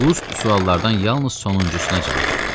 Qust suallardan yalnız sonuncusuna cavab verdi.